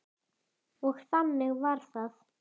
Og þannig var það.